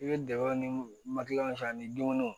I bɛ dɛgɛ ni mali san ni dumuniw